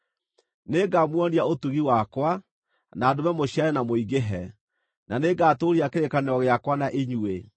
“ ‘Nĩngamuonia ũtugi wakwa, na ndũme mũciarane na mũingĩhe, na nĩngatũũria kĩrĩkanĩro gĩakwa na inyuĩ.